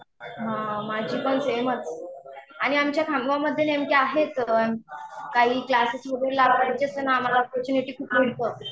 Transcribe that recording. हां माझी पण सेमच, आणि आमच्या खामगावमध्ये नेमके आहेच, काही क्लासेस वगैरे लावायचे असले ना आम्हाला कोचिंग हे ते खूप मिळतं.